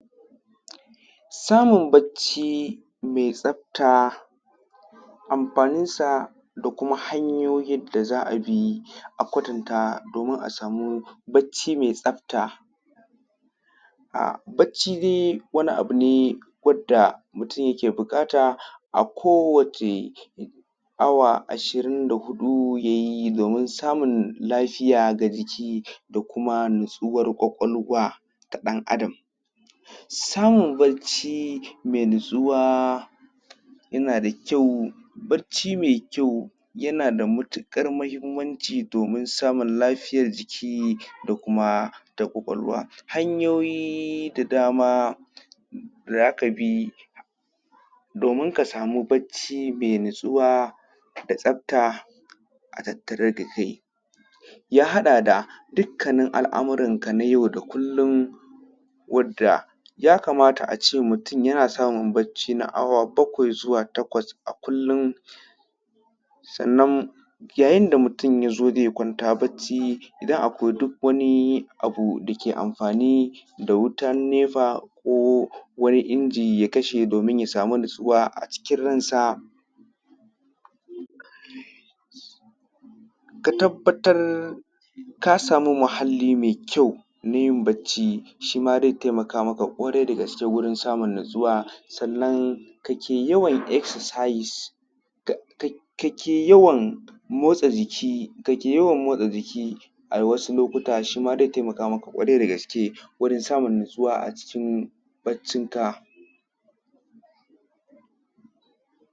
Samun bacci mai tsafta. Amfanin sa da kuma hanyoyin da za a bi a kwatanta domin a samu bacci mai tsafta. Bacci dai wani abu ne wanda mutum yake buƙata a kowane awa ashirin da huɗu ya yi domin samun lafiya ga jiki da kuma natsuwar ƙwaƙwalwa ta ɗan Adam. Samun bacci mai natsuwa yana da kyau, barci mai kyau yana da matuƙar muhimmanci domin samun lafiyar jiki da kuma ƙwaƙwalwa. Hanyoyin da za ka bi domin ka samun bacci mai natsuwa da tsafta a tattare da kai ya haɗa da dukkanin al'amuranka na yau da kullun. Wanda ya kamata a ce mutum yana samun bacci na awa bakwai zuwa takwas a kullum, sannan yayin da mutum ya zo zai kwanta bacci idan akwai duk wani abu da ke amfani da wutan nefa ko wani inji ya kashe domin ya samu natsuwa a cikin ransa. Ka tabbatar ka samu muhalli mai kyau na yin bacci shi ma zai taimaka ma ka ƙwarai da gaske wajen samun natsuwa sannan ka ke yawan excersise, ka ke yawan motsa jiki a wasu lokutan, shima zai taimaka maka ƙwarai da gaske gurin samun natsuwa a cikin baccin ka. 1:49.